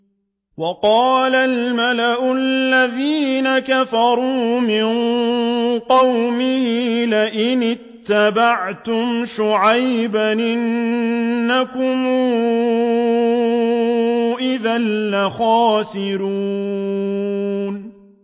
وَقَالَ الْمَلَأُ الَّذِينَ كَفَرُوا مِن قَوْمِهِ لَئِنِ اتَّبَعْتُمْ شُعَيْبًا إِنَّكُمْ إِذًا لَّخَاسِرُونَ